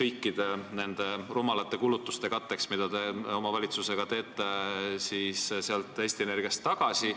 kõikide nende rumalate kulutuste katteks, mida te oma valitsusega teete, sealt Eesti Energiast tagasi?